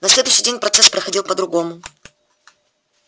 на следующий день процесс проходил по-другому